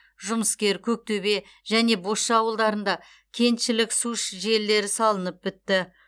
жұмыскер көктөбе және бозша ауылдарында кеншілік су желілері салынып бітті